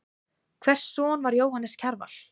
Hvers son var Jóhannes Kjarval?